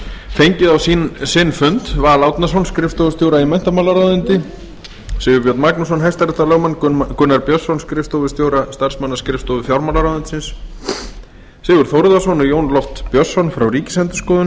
fengið á sinn fund val árnason skrifstofustjóra í menntamálaráðuneyti sigurbjörn magnússon hrl gunnar björnsson skrifstofustjóra starfsmannaskrifstofu fjármálaráðuneytis sigurð þórðarson og jón loft björnsson frá ríkisendurskoðun